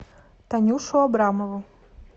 танюшу абрамову